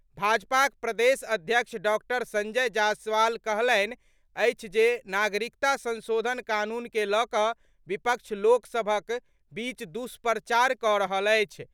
भाजपाक प्रदेश अध्यक्ष डॉक्टर संजय जायसवाल कहलनि अछि जे नागरिकता संशोधन कानून के लऽ कऽ विपक्ष लोक सभक बीच दुष्प्रचार कऽ रहल अछि।